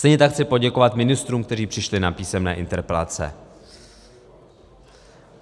Stejně tak chci poděkovat ministrům, kteří přišli na písemné interpelace.